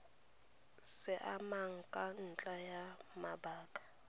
siamang ka ntlha ya mabaka